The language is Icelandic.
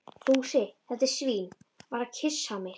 Fúsi, þetta svín, var að kyssa mig.